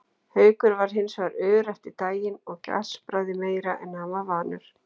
Haukur var hins vegar ör eftir daginn og gaspraði meira en hann var vanur.